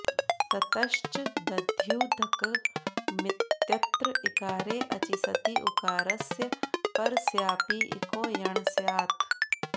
ततश्च दध्युदकमित्यत्र इकारे अचि सति उकारस्य परस्यापि इको यण् स्यात्